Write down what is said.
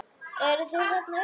Eruð þið þarna uppi!